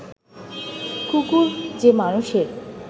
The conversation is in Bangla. কুকুর যে মানুষের